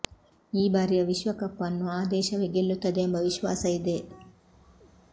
ಈ ಬಾರಿಯ ವಿಶ್ವಕಪ್ ಅನ್ನು ಆ ದೇಶವೇ ಗೆಲ್ಲುತ್ತದೆ ಎಂಬ ವಿಶ್ವಾಸ ಇದೆ